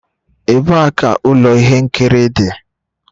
Ebee ka ụlọ ihe nkiri dị.?